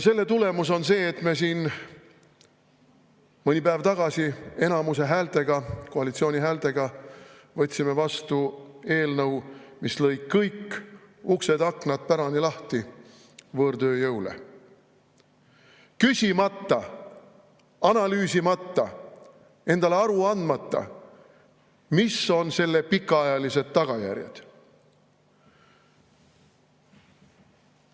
Selle tulemus on see, et me siin mõni päev tagasi enamuse häältega, koalitsiooni häältega, võtsime vastu eelnõu, mis lõi kõik uksed-aknad pärani lahti võõrtööjõule, küsimata, analüüsimata, endale aru andmata, mis on selle pikaajalised tagajärjed.